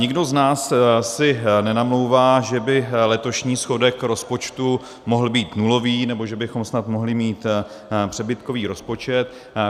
Nikdo z nás si nenamlouvá, že by letošní schodek rozpočtu mohl být nulový, nebo že bychom snad mohli mít přebytkový rozpočet.